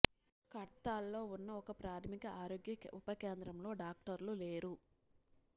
కద్తల్లో ఉన్న ఒక ప్రాథమిక ఆరోగ్య ఉప కేంద్రంలో డాక్టర్లు లేరు